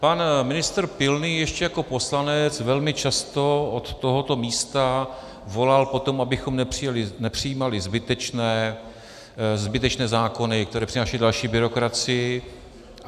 Pan ministr Pilný ještě jako poslanec velmi často od tohoto místa volal po tom, abychom nepřijímali zbytečné zákony, které přinášejí další byrokracii.